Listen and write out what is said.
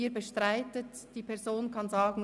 Sie bestreiten, die Person kann sagen: